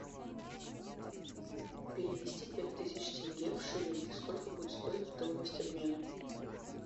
перевести пять тысяч тенге в шиллинги сколько будет стоить стоимость обмена